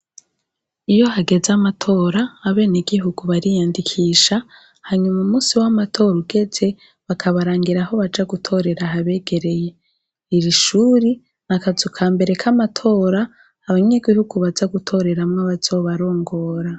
Iyo hageze amatora abenegihugu bariyandikisha hanyuma umunsi wamatora ugeze bakabarangira aho baja gutorera habegereye irishure akazu kambere kamatora abanyagihugu baza gutoreramwo abazobarongora